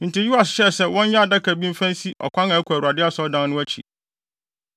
Enti Yoas hyɛɛ sɛ wɔnyɛ adaka bi mfa nsi ɔkwan a ɛkɔ Awurade Asɔredan no akyi.